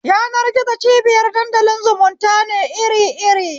Yanar-gizo cibiyar dandalin zumunta ne iri iri